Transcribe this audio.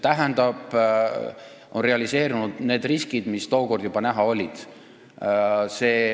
On realiseerunud need riskid, mis tookord juba näha olid.